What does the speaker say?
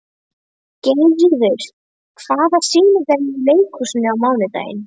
Geirríður, hvaða sýningar eru í leikhúsinu á mánudaginn?